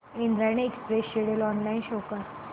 Indrayani express schedule online show कर